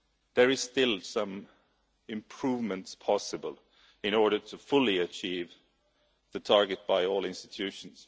There is still some improvement possible in order to fully achieve the target by all institutions.